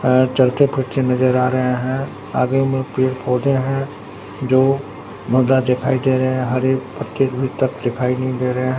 और चलते फिरते नजर आ रहे हैं आगे में पेड़ पौधे है जो मगर दिखाई दे रहे हैं। हरे पत्ते भीतर दिखाई नहीं दे रहे हैं।